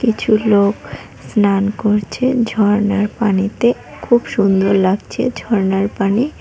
কিছু লোক স্নান করছে ঝর্ণার পানিতে খুব সুন্দর লাগছে ঝর্ণার পানি।